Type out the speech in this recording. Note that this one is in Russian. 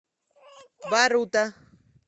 барута